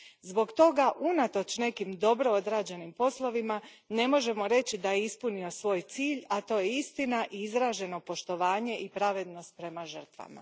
Zbog toga, unatoč nekim dobro odrađenim poslovima, ne možemo reći da je ispunio svoj cilj, a to su istina i izraženo poštovanje i pravednost prema žrtvama.